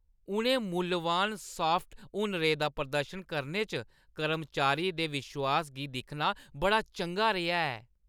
उ'नें मुल्लवान सॉफ्ट हुनरें दा प्रदर्शन करने च कर्मचारी दे विश्वास गी दिक्खना बड़ा चंगा रेहा ऐ।